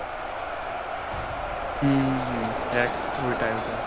হম হম এক ওটাই ওটাই,